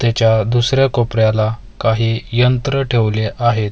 तेच्या दुसऱ्या कोपऱ्याला काही यंत्र ठेवले आहेत.